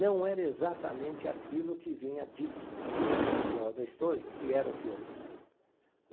Não era exatamente aquilo que vinha dito no no estojo, que era o filme.